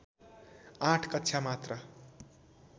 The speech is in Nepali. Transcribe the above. आठ कक्षा मात्र